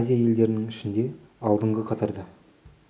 азия елдерінің ішінде алдынғы қатарда